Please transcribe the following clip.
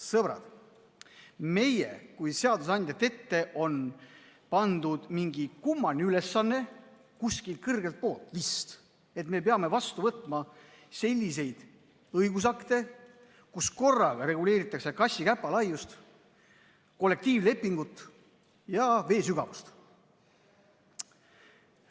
Sõbrad, meie kui seadusandjate ette on pandud mingi kummaline ülesanne – kuskilt kõrgelt vist –, et me peame vastu võtma selliseid õigusakte, kus korraga reguleeritakse kassi käpa laiust, kollektiivlepingut ja vee sügavust.